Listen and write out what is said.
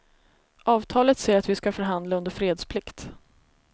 Avtalet säger att vi ska förhandla under fredsplikt.